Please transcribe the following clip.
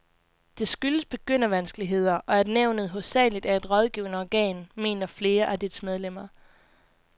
Det skyldes begyndervanskeligheder, og at nævnet hovedsageligt er et rådgivende organ, mener flere af dets medlemmer.